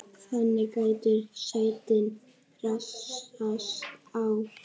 þannig gætu sætin raðast á